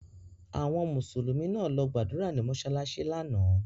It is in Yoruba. Àwọn Mùsùlùmí náà lọ gbàdúrà nìnu mọsalasi lánàá.